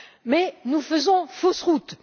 Mais nous faisons fausse route.